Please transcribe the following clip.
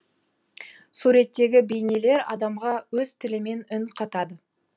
суреттегі бейнелер адамға өз тілімен үн қатады